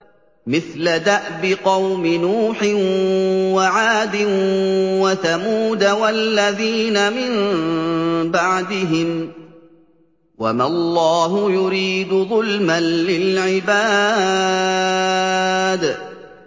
مِثْلَ دَأْبِ قَوْمِ نُوحٍ وَعَادٍ وَثَمُودَ وَالَّذِينَ مِن بَعْدِهِمْ ۚ وَمَا اللَّهُ يُرِيدُ ظُلْمًا لِّلْعِبَادِ